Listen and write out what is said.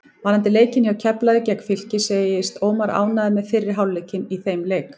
Varðandi leikinn hjá Keflavík gegn Fylki segist Ómar ánægður með fyrri hálfleikinn í þeim leik.